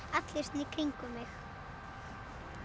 allir svona í kringum mig